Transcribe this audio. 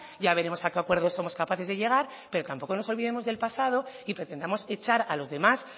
ya veremos a qué acuerdos somos capaces de llegar pero tampoco nos olvidemos del pasado y pretendamos echar a los demás